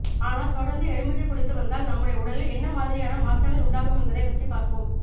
ஆனால் தொடர்ந்து எலுமிச்சை குடித்து வந்தால் நம்முடைய உடலில் என்ன மாதிரியான மாற்றங்கள் உண்டாகும் என்பதைப் பற்றி பார்ப்போம்